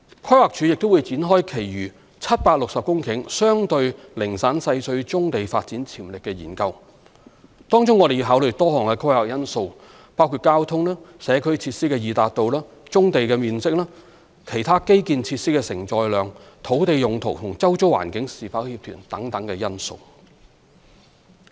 規劃署亦會展開其餘760公頃相對零散細碎棕地發展潛力的研究，當中我們要考慮多項規劃因素，包括交通及社區設施的易達度、棕地面積、其他基建設施的承載量、土地用途與周遭環境是否協調等。